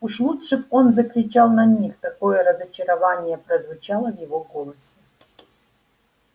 уж лучше бы он закричал на них такое разочарование прозвучало в его голосе